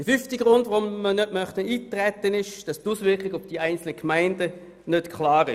Der fünfte Grund, weshalb wir nicht eintreten möchten: Die Auswirkungen auf die einzelnen Gemeinden sind nicht klar.